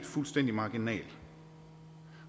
fuldstændig marginal